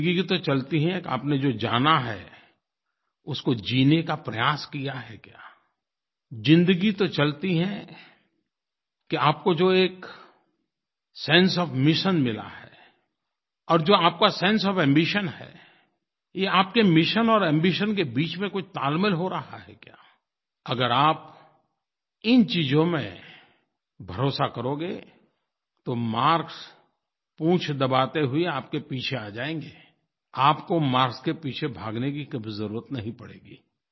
ज़िंदगी तो चलती है कि आपने जो जाना है उसको जीने का प्रयास किया है क्या ज़िंदगी तो चलती है कि आपको जो एक सेंसे ओएफ मिशन मिला है और जो आपका सेंसे ओएफ एम्बिशन है ये आपके मिशन और एम्बिशन के बीच में कोई तालमेल हो रहा है क्या अगर आप इन चीज़ों में भरोसा करोगे तो मार्क्स पूँछ दबाते हुए आपके पीछे आ जाएँगे आपको मार्क्स के पीछे भागने की कभी ज़रुरत नहीं पड़ेगी